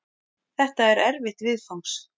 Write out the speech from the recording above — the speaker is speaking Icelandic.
Þetta er erfitt viðfangs.